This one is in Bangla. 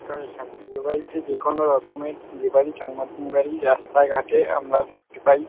বিয়ে বাড়িতে যে কোনো রকমের বিয়ে বাড়ির জন্মদিন বাড়ির রাস্তাঘাটে আমরা দেখতে পাই ।